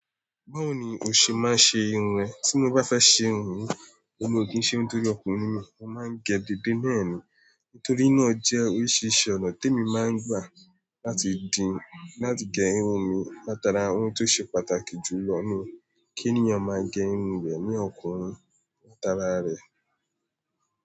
Báwo ni o ṣe máa ṣe irun ẹ? Tí mo bá fẹ́ ṣe irun mi, èmi o ki n ṣé n tóri ọkùnrin mi, mo máa ń gẹ delẹ ni. Nítorí náà jẹ́ oríṣiríṣi ọna tèmi máa n gba, lati gẹ irun mi Làtàrá ohun tó ṣe pàtàkì jù lọ ni kí ènìyàn máa gẹ irun rẹ̀ ní ọkùnrin Ṣàtàrá rẹ̀